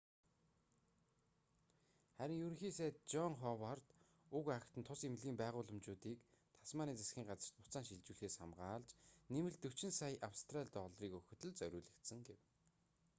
харин ерөнхий сайд жон ховард уг акт нь тус эмнэлгийн байгууламжуудыг тасманийн засгийн газарт буцаан шилжүүлэхээс хамгаалж нэмэлт 45 сая австрали долларыг өгөхөд л зориулагдсан гэв